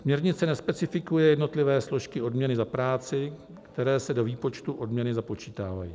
Směrnice nespecifikuje jednotlivé složky odměny za práci, které se do výpočtu odměny započítávají.